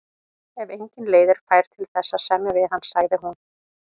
Ef engin leið er fær til þess að semja við hann, sagði hún.